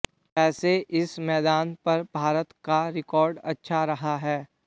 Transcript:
वैसे इस मैदान पर भारत का रिकार्ड अच्छा रहा है